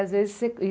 Às vezes você